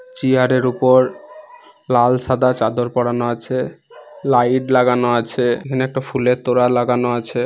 Chair -এর উপর লাল সাদা চাদর পরানো আছে লাইট লাগানো আছে এখানে একটা ফুলের তোড়া লাগানো আছে।